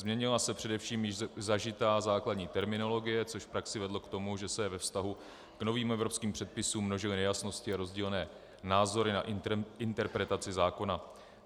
Změnila se především již zažitá základní terminologie, což v praxi vedlo k tomu, že se ve vztahu k novým evropským předpisům množily nejasnosti a rozdílné názory na interpretaci zákona.